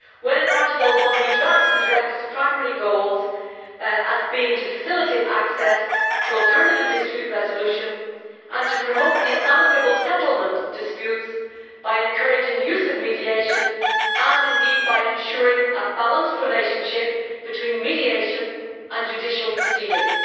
In Article 1 we drafted the directive's primary goals as being to facilitate access to alternative dispute resolution and to promote the amicable settlement of disputes by encouraging the use of mediation and, indeed, by ensuring a balanced relationship between mediation and judicial proceedings.